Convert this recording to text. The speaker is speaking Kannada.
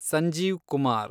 ಸಂಜೀವ್ ಕುಮಾರ್